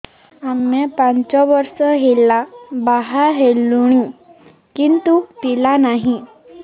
ଆମେ ପାଞ୍ଚ ବର୍ଷ ହେଲା ବାହା ହେଲୁଣି କିନ୍ତୁ ପିଲା ନାହିଁ